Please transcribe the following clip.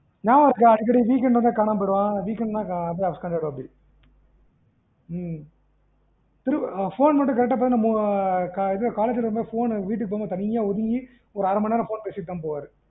நியாபகம் இருக்கா அடிக்கடி weekend வந்து காணாம போயிருவான் weekend ன்னா அப்டியே upstand ஆயிறுவப்டி ம் phone மட்டும் correct ஆ போகும் college முடிச்சதும் வீட்டுக்கு போகும் போது அரைமணி ஒதுங்கி phone பேசிடுத்தான் தான் போவாரு